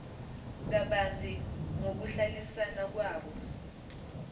kabanzi ngokuhlalisana kwabo